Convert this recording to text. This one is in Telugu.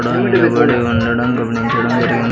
ఇక్కడ నిలబడి ఉండటం గమనించటం జరిగింది.